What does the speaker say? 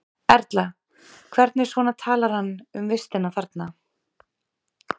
Erla: Hvernig svona talar hann um vistina þarna?